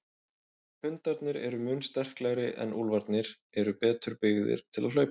Hundarnir eru mun sterklegri en úlfarnir eru betur byggðir til hlaupa.